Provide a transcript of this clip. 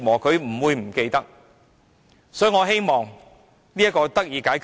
所以，我希望這情況得以解決。